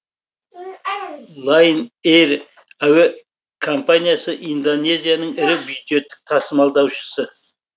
лайнэйр әуе компаниясы индонезияның ірі бюджеттік тасымалдаушысы